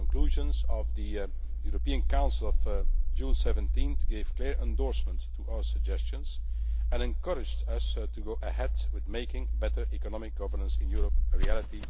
The conclusions of the European Council of 17 June gave a clear endorsement to our suggestions and encouraged us to go ahead with making better economic governance in Europe a reality